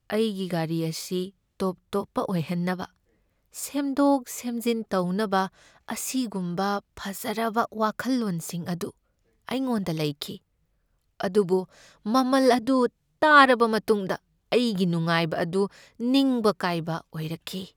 ꯑꯩꯒꯤ ꯒꯥꯔꯤ ꯑꯁꯤ ꯇꯣꯞ ꯇꯣꯞꯄ ꯑꯣꯏꯍꯟꯅꯕ ꯁꯦꯝꯗꯣꯛ ꯁꯦꯝꯖꯤꯟ ꯇꯧꯅꯕ ꯑꯁꯤꯒꯨꯝꯕ ꯐꯖꯔꯕ ꯋꯥꯈꯜꯂꯣꯟꯁꯤꯡ ꯑꯗꯨ ꯑꯩꯉꯣꯟꯗ ꯂꯩꯈꯤ, ꯑꯗꯨꯕꯨ ꯃꯃꯜ ꯑꯗꯨ ꯇꯥꯔꯕ ꯃꯇꯨꯡꯗ ꯑꯩꯒꯤ ꯅꯨꯡꯉꯥꯏꯕ ꯑꯗꯨ ꯅꯤꯡꯕ ꯀꯥꯏꯕ ꯑꯣꯏꯔꯛꯈꯤ ꯫